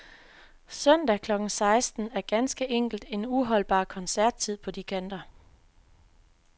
Søndag klokken seksten er ganske enkelt en uholdbar koncerttid på de kanter.